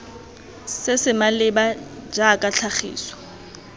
se se maleba jaaka tlhagiso